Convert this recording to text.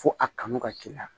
Fo a kanu ka k'i la